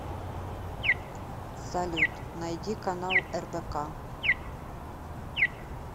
салют найди канал рбк